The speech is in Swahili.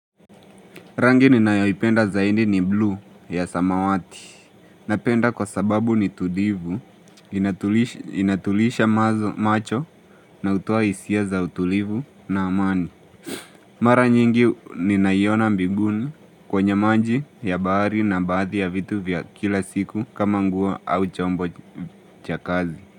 Rangi ninayoipenda zaidi ni bluu ya samawati. Napenda kwa sababu ni tulivu, inatuliza macho na utoa hisia za utulivu na amani. Mara nyingi ninaiona mbinguni kwenye maji ya bahari na baadhi ya vitu vya kila siku kama nguo au chombo cha kazi.